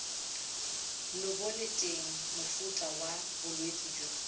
lebolelateng mofuta wa bolwetse jo